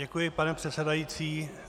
Děkuji, pane předsedající.